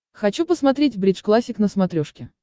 хочу посмотреть бридж классик на смотрешке